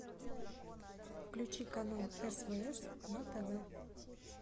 включи канал свс на тв